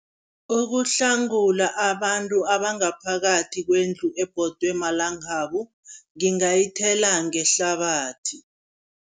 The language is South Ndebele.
Ukuhlangula abantu abangaphakathi kwendlu ebhodwe malangabu, ngingayithela ngehlabathi.